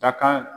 Dakan